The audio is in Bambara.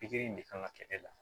Pikiri in de kan ka kɛ e la